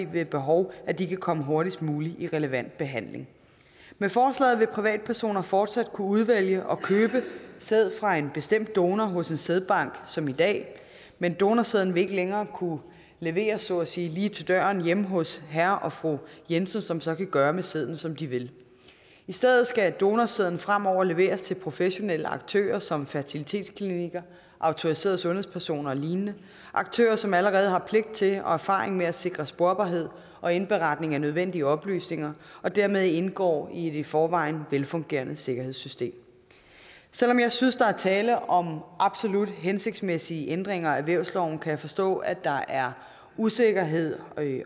ved behov at de kan komme hurtigst muligt i relevant behandling med forslaget vil privatpersoner fortsat kunne udvælge og købe sæd fra en bestemt donor hos en sædbank som i dag men donorsæden vil ikke længere kunne leveres så at sige lige til døren hjemme hos herre og fru jensen som så kan gøre med sæden som de vil i stedet skal donorsæden fremover leveres til professionelle aktører som fertilitetsklinikker autoriserede sundhedspersoner og lignende aktører som allerede har pligt til og erfaring med at sikre sporbarhed og indberetning af nødvendige oplysninger og dermed indgår i et i forvejen velfungerende sikkerhedssystem selv om jeg synes at der er tale om absolut hensigtsmæssige ændringer af vævsloven kan jeg forstå at der er usikkerhed